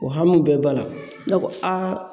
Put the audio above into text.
O hamiw bɛɛ ba la ne ko